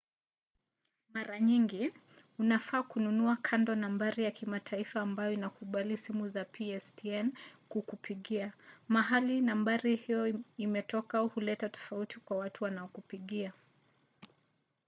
mara nyingi unafaa kununua kando nambari ya kimataifa ambayo inakubali simu za pstn kukupigia. mahali nambari hiyo imetoka huleta tofauti kwa watu wanaokupigia